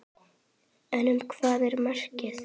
En um hvað er verkið?